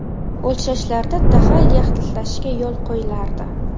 O‘lchashlarda dag‘al yaxlitlashga yo‘l qo‘yilardi.